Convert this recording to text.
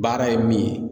Baara ye min ye